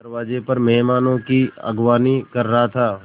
मैं दरवाज़े पर मेहमानों की अगवानी कर रहा था